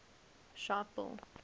sharpeville